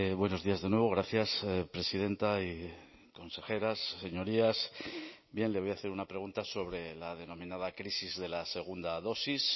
buenos días de nuevo gracias presidenta y consejeras señorías bien le voy a hacer una pregunta sobre la denominada crisis de la segunda dosis